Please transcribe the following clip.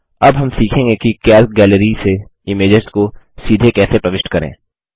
अब हम सीखेंगे कि कैल्क गैलरी से इमेजेस को सीधे कैसे प्रविष्ट करें